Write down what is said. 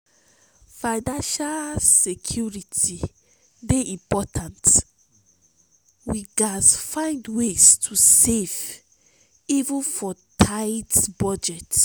financial security dey important; we gats find ways to save even for tight budget.